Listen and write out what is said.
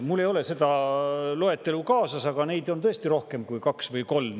Mul ei ole seda loetelu kaasas, aga neid on tõesti rohkem kui kaks või kolm.